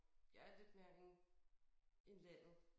Jeg er lidt mere en en landet